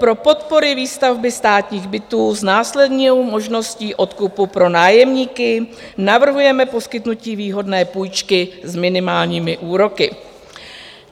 Pro podpory výstavby státních bytů s následnou možností odkupu pro nájemníky navrhujeme poskytnutí výhodné půjčky s minimálními úroky.